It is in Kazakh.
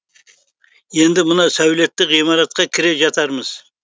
енді мына сәулетті ғимаратқа кіре жатармыз